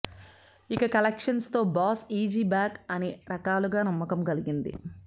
ఇక కలెక్షన్స్ తో boss is back అన్ని రకాలుగా నమ్మకం కలిగింది